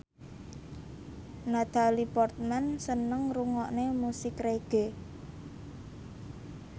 Natalie Portman seneng ngrungokne musik reggae